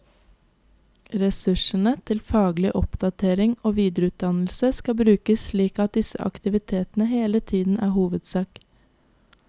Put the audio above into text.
Ressursene til faglig oppdatering og videreutdannelse skal brukes slik at disse aktivitetene hele tiden er hovedsak.